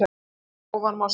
Hér að ofan má sjá